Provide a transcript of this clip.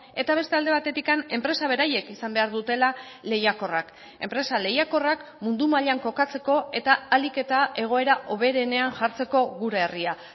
eta beste alde batetik enpresa beraiek izan behar dutela lehiakorrak enpresa lehiakorrak mundu mailan kokatzeko eta ahalik eta egoera hoberenean jartzeko gure herria